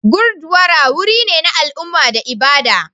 Gurdwara wuri ne na al'umma da ibada.